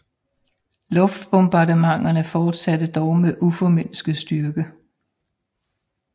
Luftbombardementerne fortsattes dog med uformindsket styrke